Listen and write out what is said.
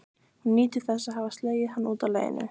Hún nýtur þess að hafa slegið hann út af laginu.